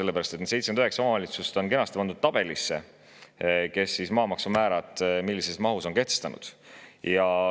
Need 79 omavalitsust on kenasti pandud tabelisse,, kes millised maamaksumäärad on kehtestanud.